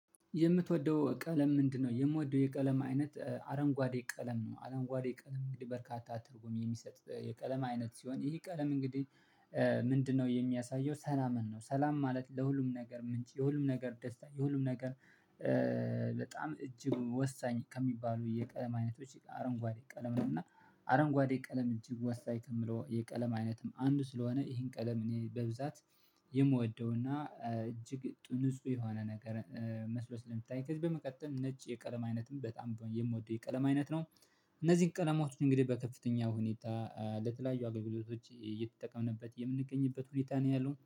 የምትወደው ቀለም ምንድነው? የምወደው የቀለም አይነት አረንጓዴ ቀለም ነው አረንጓዴ ቀለም እንግዲህ በርካታ ትርጉም የሚሰጥ የቀለም አይነት ሲሆን ይህ ቀለም እንግዲህ ምንድነው የሚያሳየው ሰላምን ነው። ሰላም ማለት ለሁሉም ነገር ምንጭ የሁሉም ነገር ደስታ የሁሉም ነገር። በጣም እጅግ ወሳኝ ከሚባሉ የቀለም አይነቶች አረንጓዴ ቀለም ነው። እና ቀለም እጅግ ወሳኝ ከምለው የቀለም አይነትም አንዱ ስለሆነ ይሄን ቀለም እኔ በብዛት የምወደውና እጅግ ንጹ የሆነ ነገር መስሎ ስለሚታየኝ ከዚህ በመቀጠል ነጭ የቀለም አይነትም በጣም የምወደው የቀለም አይነት ነው። እነዚህን ቀለማት እንግዲህ በከፍተኛው ሁኔታ ለተለያዩ አገልግሎቶች እየተጠቀምንበት የምንገኝበት ሁኔታ ነው ያለው